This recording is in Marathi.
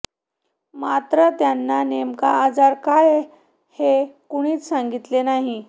मात्र त्यांना नेमका आजार काय हे कोणीच सांगितलं नाही